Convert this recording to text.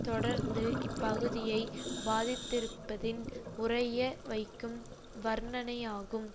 தொடர்ந்து இப்பகுதியை பாதித்திருப்பதின் உறைய வைக்கும் வர்ணனையாகும்